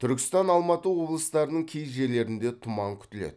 түркістан алматы облыстарының кей жерлерінде тұман күтіледі